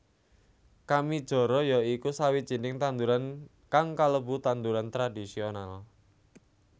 Kamijara ya iku sawijining tanduran kang kalebu tanduran tradhisional